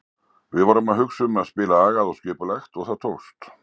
Við vorum að hugsa um að spila agað og skipulagt og það tókst.